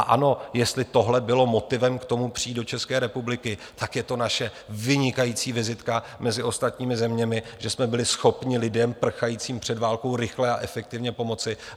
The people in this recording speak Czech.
A ano, jestli tohle bylo motivem k tomu přijít do České republiky, tak je to naše vynikající vizitka mezi ostatními zeměmi, že jsme byli schopni lidem prchajícím před válkou rychle a efektivně pomoci.